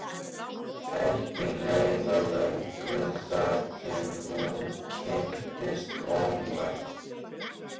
Ekki leið á löngu þar til hún kynntist Ómari.